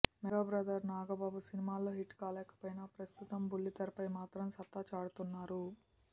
mega brother Nagababu సినిమాల్లో hit కాలేకపోయినా ప్రస్తుతం బుల్లితెరపై మాత్రం సత్తా చాటుతున్నారు